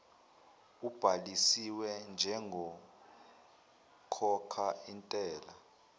ubhalisiwe njengokhokha intela